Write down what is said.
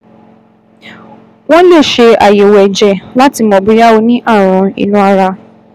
Wọ́n lè ṣe àyẹ̀wò ẹ̀jẹ̀ láti mọ̀ bóyá ó ní ààrùn inú ara